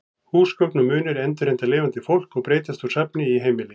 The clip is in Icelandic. Húsgögn og munir endurheimta lifandi fólk og breytast úr safni í heimili.